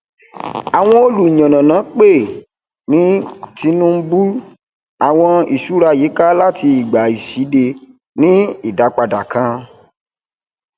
àwọn olùyànànà pè é ní tinubull àwọn ìṣúra yíká láti ìgbà ìṣíde ní ìdápadà kan